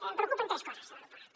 em preocupen tres coses de l’aeroport